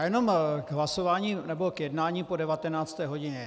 Já jenom k hlasování nebo k jednání po 19. hodině.